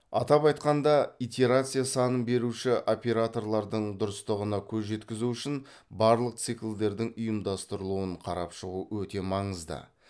атап айтқанда итерация санын беуші операторлардың дұрыстығына көз жеткізу үшін барлық циклдердің ұйымдастырылуын қарап шығу өте маңызды